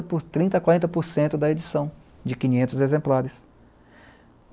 por trinta a quarenta por cento da edição, de quinhentos exemplares.